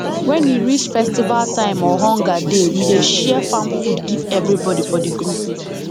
when e reach festival time or hunger dey we dey share farm food give everybody for the group